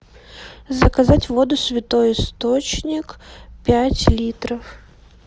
заказать воду святой источник пять литров